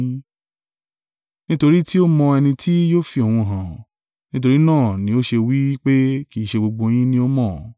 Nítorí tí ó mọ ẹni tí yóò fi òun hàn; nítorí náà ni ó ṣe wí pé, kì í ṣe gbogbo yín ni ó mọ́.